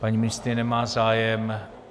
Paní ministryně nemá zájem.